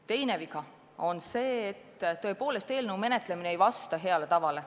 Teine viga on see, et tõepoolest eelnõu menetlemine ei vasta heale tavale.